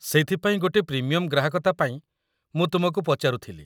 ସେଇଥିପାଇଁ ଗୋଟେ ପ୍ରିମିୟମ୍‌ ଗ୍ରାହକତା ପାଇଁ ମୁଁ ତୁମକୁ ପଚାରୁଥିଲି।